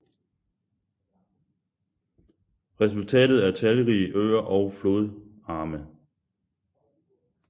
Resultatet er talrige øer og flodarme